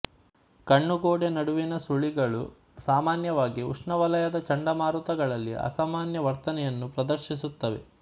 ಕಣ್ಣು ಗೋಡೆ ನಡುವಿನ ಸುಳಿಗಳು ಸಾಮಾನ್ಯವಾಗಿ ಉಷ್ಣವಲಯದ ಚಂಡಮಾರುತಗಳಲ್ಲಿ ಅಸಾಮಾನ್ಯ ವರ್ತನೆಯನ್ನು ಪ್ರದರ್ಶಿಸುತ್ತವೆ